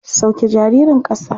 Sauke jaririn ƙasa.